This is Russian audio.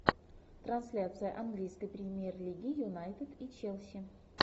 трансляция английской премьер лиги юнайтед и челси